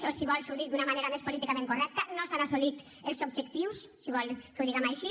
o si vol li ho dic d’una manera més políticament correcta no s’han assolit els objectius si vol que ho diguem així